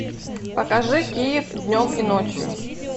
покажи киев днем и ночью